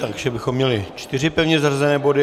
Takže bychom měli čtyři pevně zařazené body.